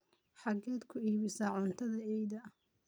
xageed ku iibisa cuntada eyda?